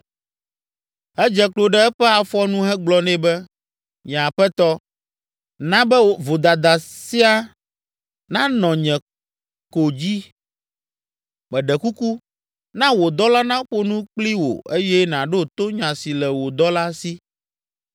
Edze klo ɖe eƒe afɔ nu hegblɔ nɛ be, “Nye aƒetɔ, na be vodada sia nanɔ nye ko dzi. Meɖe kuku, na wò dɔla naƒo nu kpli wò eye nàɖo to nya si le wò dɔla si.